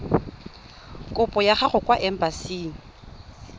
kopo ya gago kwa embasing